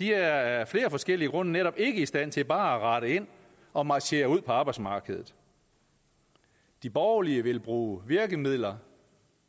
er af flere forskellige grunde netop ikke i stand til bare at rette ind og marchere ud på arbejdsmarkedet de borgerlige vil bruge virkemidler